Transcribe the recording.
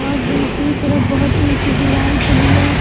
और दूसरी तरफ बहोत ऊंची दीवाल चली है।